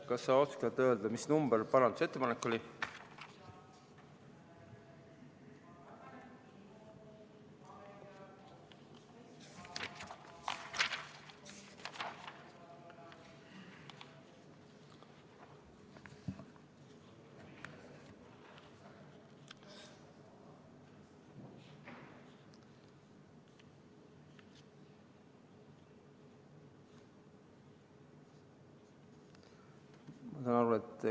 Kas sa oskad öelda, mis number parandusettepanek see oli?